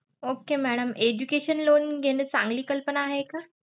Okay madam education loan घेणं चांगली कल्पना आहे का?